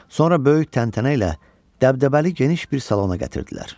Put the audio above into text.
Sonra böyük təntənə ilə dəbdəbəli geniş bir salona gətirdilər.